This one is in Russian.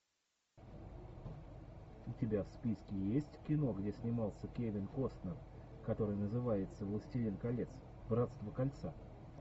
у тебя в списке есть кино где снимался кевин костнер который называется властелин колец братство кольца